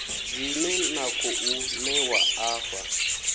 dzine na khou ṋewa afha